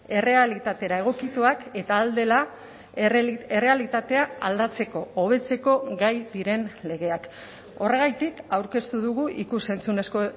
errealitatera egokituak eta ahal dela errealitatea aldatzeko hobetzeko gai diren legeak horregatik aurkeztu dugu ikus entzunezko